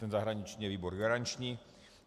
Ten zahraniční je výbor garanční.